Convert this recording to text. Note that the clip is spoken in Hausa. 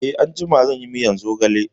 Eh, anjima zan yi miyar zogale